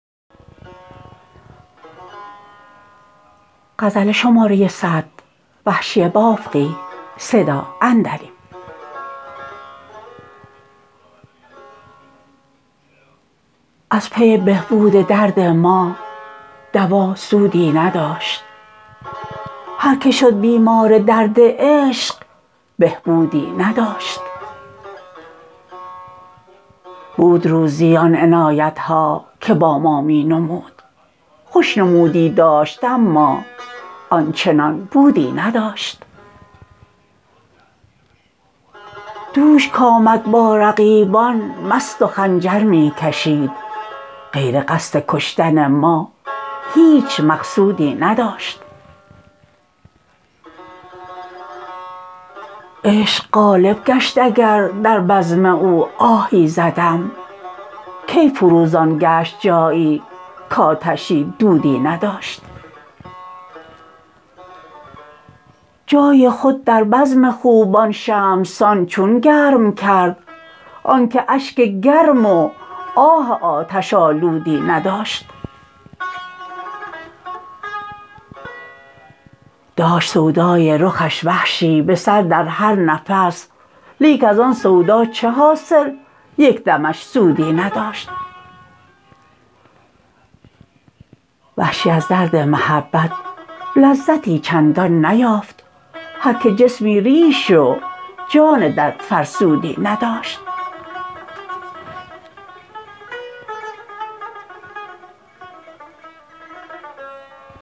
از پی بهبود درد ما دوا سودی نداشت هرکه شد بیمار درد عشق بهبودی نداشت بود روزی آن عنایت ها که با ما می نمود خوش نمودی داشت اما آنچنان بودی نداشت دوش کـآمد با رقیبان مست و خنجر می کشید غیر قصد کشتن ما هیچ مقصودی نداشت عشق غالب گشت اگر در بزم او آهی زدم کی فروزان گشت جایی کـآتشی دودی نداشت جای خود در بزم خوبان شمع سان چون گرم کرد آنکه اشک گرم و آه آتش آلودی نداشت داشت سودای رخش وحشی به سر در هر نفس لیک از آن سودا چه حاصل یک دمش سودی نداشت وحشی از درد محبت لذتی چندان نیافت هرکه جسمی ریش و جان دردفرسودی نداشت